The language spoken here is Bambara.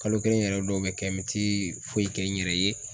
Kalo kelen yɛrɛ dɔw bi kɛ n bɛ ti foyi kɛ n yɛrɛ ye